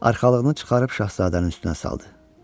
Arxalığını çıxarıb şahzadənin üstünə saldı.